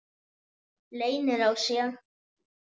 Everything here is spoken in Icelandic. Leynir á sér!